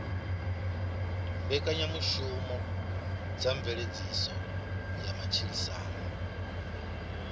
mbekanyamushumo dza mveledziso ya matshilisano